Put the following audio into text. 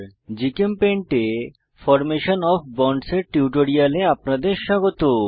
GChemPaint এ formation of bonds এর টিউটোরিয়ালে আপনাদের স্বাগত